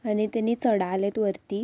आणि तेनी चढायलेत वरती.